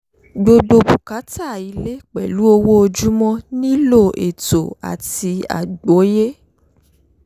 gbígbó bùkátà ilé pèlú owó ojúmọ nílò ètò àti àgbóyé